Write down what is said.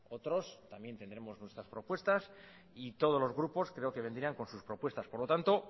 otros también tendremos nuestras propuestas y todos los grupos creo que vendrían con sus propuestas por lo tanto